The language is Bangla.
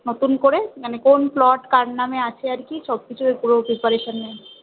নতুন করে মানে কোন plot কার নামে আছে আর কি সব কিছুর পুরো preparation নেয়